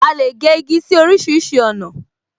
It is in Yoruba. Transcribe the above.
A lè gé igi sí orísìírísìí ọ̀nà